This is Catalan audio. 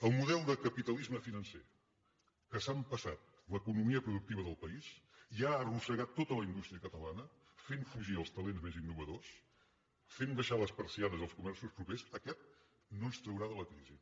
el model de capitalisme financer que s’ha empassat l’economia productiva del país i ha arrossegat tota la indústria catalana fent fugir els talents més innovadors fent abaixar les persianes dels comerços propers aquest no ens traurà de la crisi